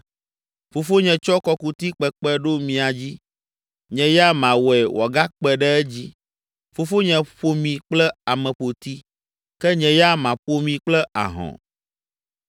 Fofonye tsɔ kɔkuti kpekpe ɖo mia dzi. Nye ya mawɔe wòagakpe ɖe edzi. Fofonye ƒo mi kple ameƒoti, ke nye ya maƒo mi kple ahɔ̃.’ ”